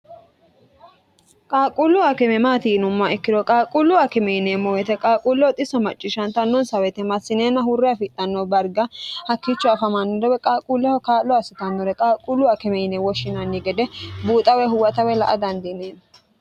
qaaqquullu akime maati yinummoha ikkiro qaaquullu akime yineemmo weyite qaaquulleho xiso macciishshntnnonsa woyite massineenna hurre afidhanno dariga hakkicho afamaannore woy qaaquulleho kaa'llo assitannore qaaquullu akime yinee woshshinanni gede buuxawe huwata woy la''a dandiineemmo